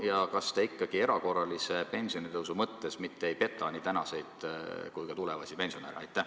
Ja kas te ikkagi erakorralist pensionitõusu lubades ei peta nii praegusi kui ka tulevasi pensionäre?